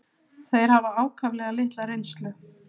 Þeir hafa ákaflega litla reynslu.